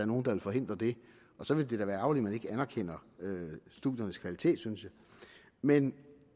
nogen der forhindrer det så vil det da være ærgerligt at man ikke anerkender studiernes kvalitet synes jeg men